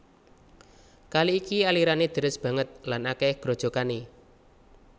Kali iki alirané deres banget lan akèh grojogané